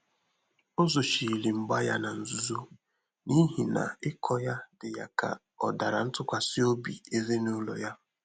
Ọ́ zòchírí mgbà yá nà nzùzò n’íhí nà ị́kọ yá dị́ yá kà ọ dàrà ntụ́kwàsị́ óbí èzínụ́lọ yá.